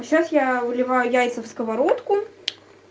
а сейчас я уливаю яйца в сковородку